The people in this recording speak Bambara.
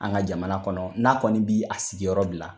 An ka jamana kɔnɔ n'a kɔni bi a sigiyɔrɔ bila